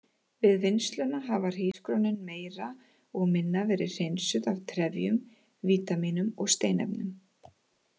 Við vinnsluna hafa hrísgrjónin meira og minna verið hreinsuð af trefjum, vítamínum og steinefnum.